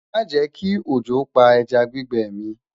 má jè kí ọjọ pá ẹja gbígbẹ mi